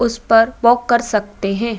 उसे पर वाक कर सकते हैं।